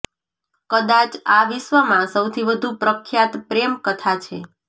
કદાચ આ વિશ્વમાં સૌથી વધુ પ્રખ્યાત પ્રેમ કથા છે